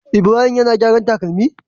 Ibrahim yAna gyaran takalami?